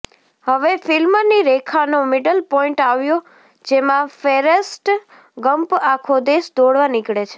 હવે ફ્લ્મિની રેખાનો મિડલ પોઈન્ટ આવ્યો જેમાં ફેરેસ્ટ ગમ્પ આખો દેશ દોડવા નીકળે છે